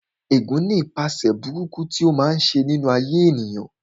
Ẹ̀gún ní ipaṣẹ̀ burúkú tí ó máa ń ṣe nínú ayé ènìyàn